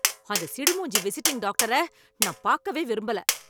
அந்த சிடு மூஞ்சி விசிட்டிங் டாக்டரை நான் பாக்கவே விரும்பல.